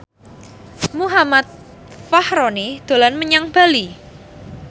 Muhammad Fachroni dolan menyang Bali